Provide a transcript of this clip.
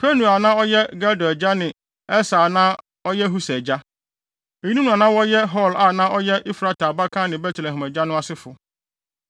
Penuel a na ɔyɛ Gedor agya ne Eser a na ɔyɛ Husa agya. Eyinom na na wɔyɛ Hur a na ɔyɛ Efrata abakan ne Betlehem agya no asefo.